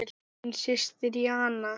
Þín systir Jana.